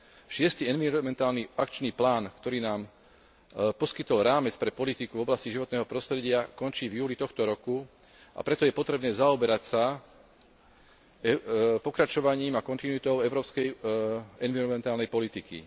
Šiesty environmentálny akčný plán, ktorý nám poskytol rámec pre politiku v oblasti životného prostredia, končí v júli tohto roku, a preto je potrebné zaoberať sa pokračovaním a kontinuitou európskej environmentálnej politiky.